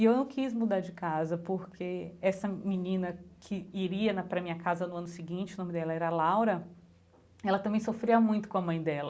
E eu não quis mudar de casa, porque essa menina que iria na para minha casa no ano seguinte, o nome dela era Laura, ela também sofria muito com a mãe dela.